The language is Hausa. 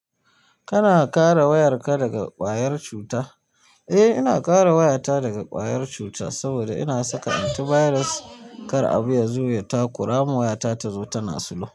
Kana kare wayarka daga ƙwayar cuta? Eh, ina kare wayata daga ƙwayar cuta saboda ina saka antivirus kar abu ya zo ya takura ma wayata tazo tana sulhu.